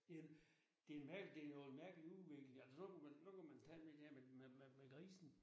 Det en den en det nogen mærkelig udvikling altså så kan man nu kan man tage det der med med med grisen